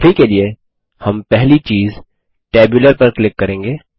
अभी के लिए हम पहली चीज़ टेबुलर पर क्लिक करेंगे